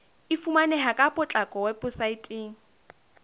e fumaneha ka potlako weposaeteng